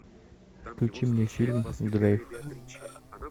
включи мне фильм драйв